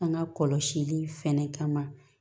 An ka kɔlɔsili fɛnɛ kama